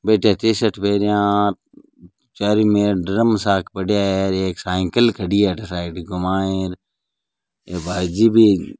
बैठे टी-शर्ट पेरया आ चारु मेर ड्रम साक पड्या है एर एक साइकिल खड़ी है अठे साइकिल के माइन ये भाई जी भी --